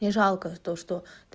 не жалко то что